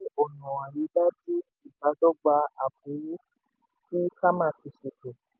ọ̀nà àrídájú ìbádọ́gba tí cama ti ṣètò.